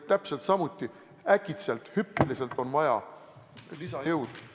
Täpselt samuti võib äkitselt vaja olla hüppeliselt rohkem lisajõudu.